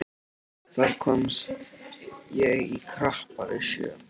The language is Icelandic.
Þar komst ég í krappari sjó.